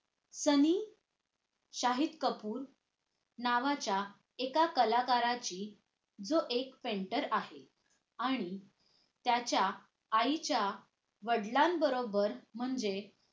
सलीम शाहिद कपूर नावाच्या एका कलाकाराची जो एक painter आहे आणि त्याच्या आईच्या वडिलांबरोबर म्हणजे